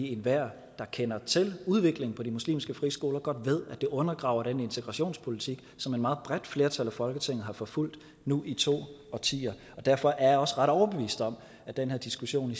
enhver der kender til udviklingen på de muslimske friskoler ved godt det undergraver den integrationspolitik som et meget bredt flertal af folketinget har forfulgt nu i to årtier derfor er jeg også ret overbevist om at den her diskussion